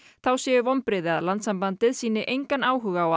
þá séu vonbrigði að Landssambandið sýni engan áhuga á